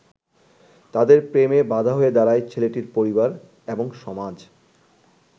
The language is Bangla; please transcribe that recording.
তাদের প্রেমে বাধা হয়ে দাঁড়ায় ছেলেটির পরিবার এবং সমাজ।